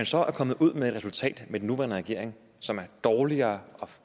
så kommet ud med et resultat med den nuværende regering som er dårligere